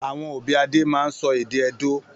Àwọn òbí Adé máa ń sọ èdè Edó.